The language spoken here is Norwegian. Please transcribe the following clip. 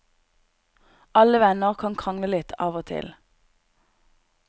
Alle venner kan krangle litt av og til.